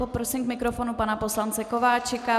Poprosím k mikrofonu pana poslance Kováčika.